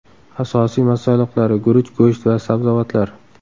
Asosiy masalliqlari guruch, go‘sht va sabzavotlar.